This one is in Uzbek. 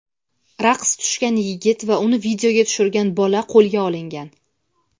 raqs tushgan yigit va uni videoga tushirgan bola qo‘lga olingan.